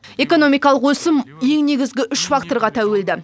экономикалық өсім ең негізгі үш факторға тәуелді